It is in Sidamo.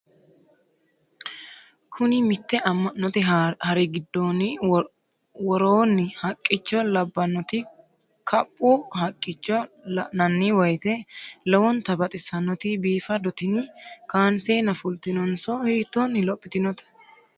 Kuni mitte amma'note hari gidoonni woronni haqqicho labbannoti kaphu haqqicho la'nanni woyiite lowonta baxissannoti biifado tini kanseenna fultinotenso hitoonni lophitinote?